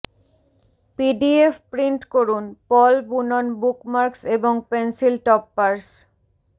PDF print করুনঃ পল বুনন বুকমার্কস এবং পেন্সিল টপপারস